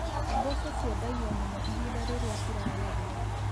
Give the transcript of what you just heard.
Mboco ciendagio mũno ihinda rĩrĩa ciragethwo.